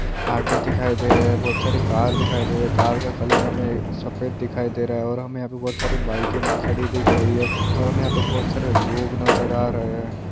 Auto दिखाई दे रहे बहुत सारे कार दिखाई दे रहे कार का कलर हमे सफेद दिखाई दे रहे है और बाईके खड़ी दिख रही है और हमे यहां पे बहुत सारे लोग नजर आ रहे है।